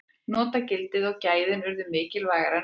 notagildið og gæðin urðu mikilvægara en útlitið